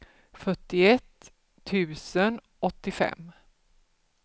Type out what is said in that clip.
fyrtioett tusen åttiofem